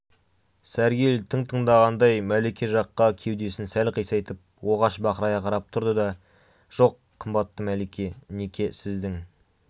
сәргел тың тыңдағандай мәлике жаққа кеудесін сәл қисайтып оғаш бақырая қарап тұрды да жоқ қымбатты мәлике неке сіздің